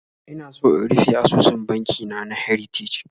Ina so in rufe asusun banki na na Heritage